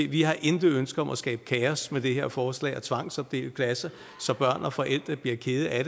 vi har intet ønske om at skabe kaos med det her forslag og tvangsopdele klasser så børn og forældre bliver kede af